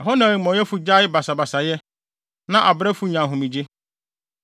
Ɛhɔ na amumɔyɛfo gyae basabasayɛ, na abrɛfo nya ahomegye.